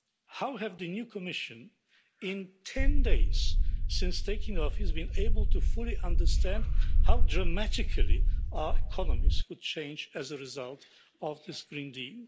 How have the new Commission, in 10 days since taking office, been able to fully understand how dramatically our economies could change as a result of this Green Deal?